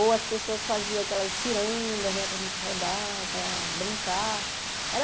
Ou as pessoas faziam aquelas cirandas né para a gente rodar, para brincar. Era